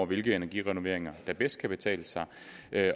hvilke energirenoveringer der bedst kan betale sig